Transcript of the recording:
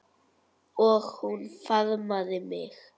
Og hún faðmaði mig.